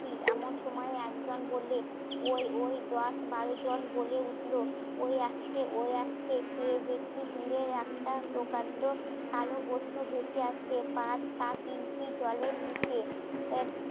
এমন সময়ে একজন বললে ওই ওই দশ বারো জন বলে উঠলো ওই আসছে ওই আসছে কে বেশি দূরে একটা প্রকাণ্ড কালো বস্তু ভেসে আসছে জলের নিচে